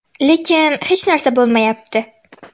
Lekin hech narsa bo‘lmayapti.